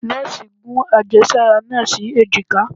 nọọsi gún ajésárá naa sí ejika